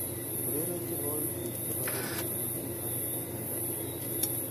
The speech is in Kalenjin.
Ureren tiewokiknyu chebo rhumba chemiten barak, kaikai